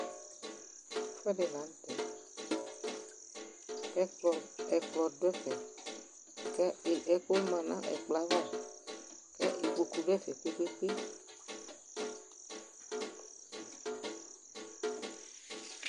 Ɛfʋɛdɩ la nʋ tɛ kʋ ɛkplɔ dʋ ɛfɛ kʋ e ɛkʋma nʋ ɛkplɔ yɛ ava kʋ ikpoku dʋ ɛfɛ kpe-kpe-kpe